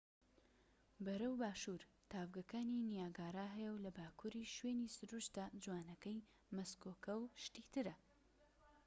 بەرەو باشور تاڤگەکانی نیاگارا هەیە و لە باکوریش شوێنی سروشتە جوانەکەی مەسکۆکە و شتی ترە